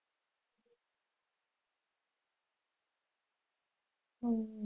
હમ